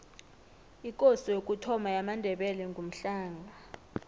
ikosi yokuthoma yamandebele ngumhlanga